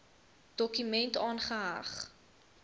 dokument aangeheg